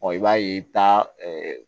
i b'a ye i bɛ taa